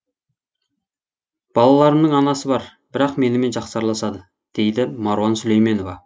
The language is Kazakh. балаларымның анасы бар бірақ менімен жақсы араласады дейді маруан сүлейменова